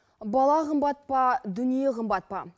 бала қымбат па дүние қымбат па